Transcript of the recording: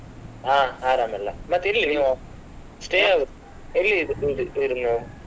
ಹಾ ಆರಾಮ್ ಎಲ್ಲಾ ಮತ್ತೆ ಎಲ್ಲಿ ನೀವು ಎಲ್ಲಿ ಇ~ ಇರುದು ನೀವು?